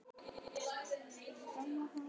Þá er honum meira en brugðið.